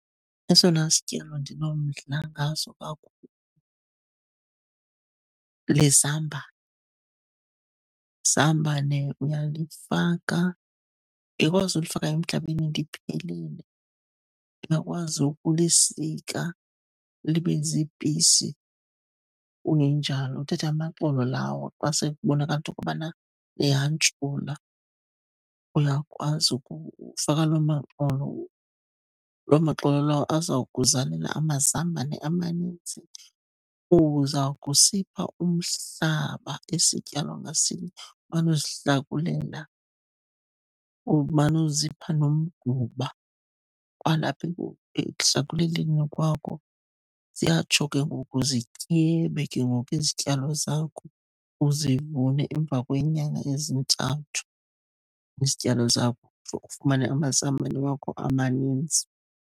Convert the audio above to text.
Esona sityalo ndinomdla ngaso kakhulu lizambane. Izambane uyalifaka. Because ulifaka emhlabeni liphelele, uyakwazi ukulisika libe ziipisi. Kungenjalo uthathe amaxolo lawo xa sekubonakala into yokuba liyantshula, uyakwazi ukufaka loo maxolo. Loo maxolo lawo azawukuzalela amazambane amaninzi. Uzawukusipha umhlaba isityalo ngasinye, umane uzihlakulela, umane uzipha nomgquba kwalapha ekuhlakuleleni kwakho. Ziyatsho ke ngoku zityebe ke ngoku izityalo zakho, uzibone emva kweenyanga ezintathu izityalo zakho. Ufumane amazambane wakho amanintsi.